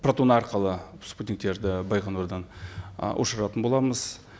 протон арқылы спутниктерді байқоңырдан ы ұшыратын боламыз